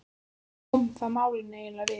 Hvað koma það málinu eiginlega við?